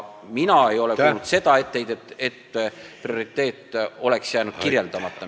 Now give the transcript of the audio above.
Mina ei ole kuulnud sellist etteheidet, et esitatud prioriteet oleks jäänud kirjeldamata.